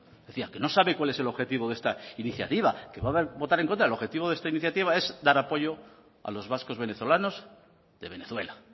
es decía que no sabe cuál es el objetivo de esta iniciativa que va a votar en contra el objetivo de esta iniciativa es dar apoyo a los vascos venezolanos de venezuela